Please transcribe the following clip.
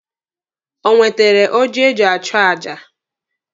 Ọ nwetere oji eji achụ aja?